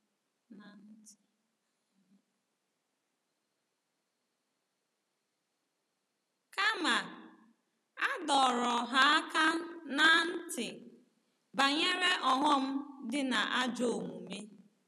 Kama, a dọrọ ha aka ná ntị banyere ọghọm dị na ajọ omume.